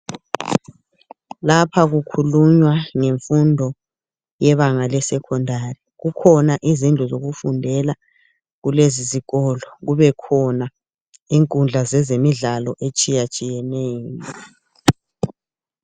Lapha kukhulunywa ngemfundo yebanga le secondary kukhona izindlu zokufundela kulesisikolo kubekhona inkundla zezemidlalo etshiyatshiyeneyo.